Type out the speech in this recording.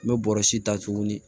N bɛ bɔrɛ si ta tuguni